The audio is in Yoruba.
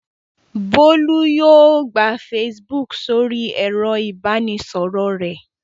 Bólú yóò gba Facebook sórí ẹ̀rọ-ìbánisọ̀rọ̀ rẹ̀.